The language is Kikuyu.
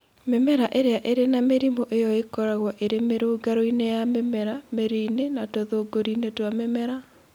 Mĩmera ĩrĩa ĩrĩ na mĩrimũ ĩyo ĩkoragwo ĩrĩ mĩrũngarũ-inĩ ya mĩmera, mĩri-inĩ, na tũthũngũri-inĩ twa mĩmera.